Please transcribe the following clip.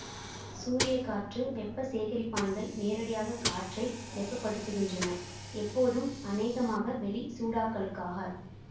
சூரிய காற்று வெப்ப சேகரிப்பான்கள் நேரடியாக காற்றை வெப்பப்படுத்துகின்றன எப்போதும் அனேகமாக வெளி சூடாக்கலுக்காக